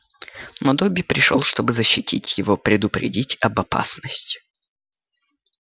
но добби пришёл чтобы защитить его предупредить об опасности